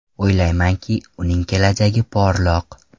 O‘ylaymanki, uning kelajagi porloq.